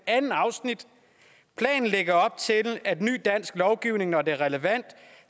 andet afsnit planen lægger op til at ny dansk lovgivning når det er relevant